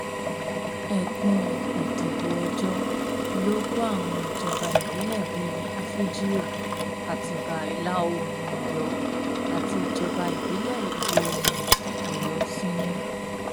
ẹkùn ìdìbò ọjọ ló kó àwọn ìjọba ìbílẹ bíi àfíjío àtibá ìlàoòrùn ọyọ àti ìjọba ìbílẹ ìwọoòrùn ọyọ sínú